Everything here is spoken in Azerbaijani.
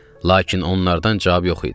Lakin onlardan cavab yox idi.